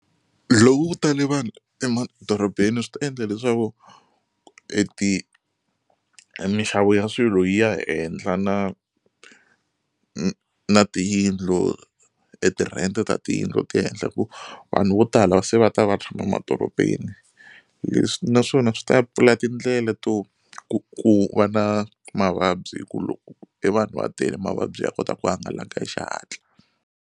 Loko ku tale vanhu emadorobeni swi ta endla leswaku e ti mixavo ya swilo yi ya henhla na na tiyindlu e tirhente ta tiyindlu ti ya ehenhla hi ku vanhu vo tala va se va ta va tshama madorobeni leswi naswona swi ta pfula tindlela to ku ku va na mavabyi hi ku loko e vanhu va tele mavabyi ya kota ku hangalaka hi xihatla.